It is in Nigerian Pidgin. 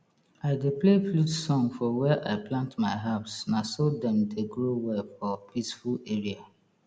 i dey play flute song for where i plant my herbs na so dem dey grow well for peaceful area